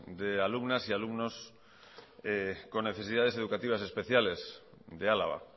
de alumnas y alumnos con necesidades educativas especiales de álava